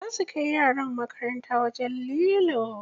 Za su kai yaran makaranta wajen lilo.